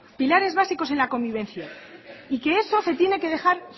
pilares básicos en la convivencia y que eso se tiene que dejar